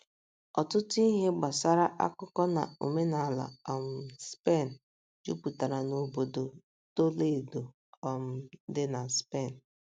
Ọtụtụ ihe gbasara akụkọ na omenala um Spen jupụtara n’obodo Toledo um dị na Spen.